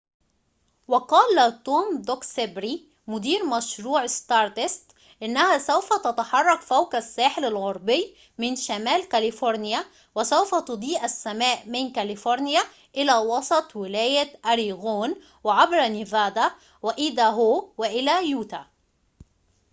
وقال توم دوكسبري مدير مشروع ستاردست إنها سوف تتحرك فوق الساحل الغربي من شمال كاليفورنيا وسوف تضيء السماء من كاليفورنيا إلى وسط ولاية أوريغون وعبر نيفادا وأيداهو وإلى يوتا